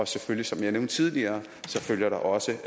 selvfølgelig som jeg nævnte tidligere følger der også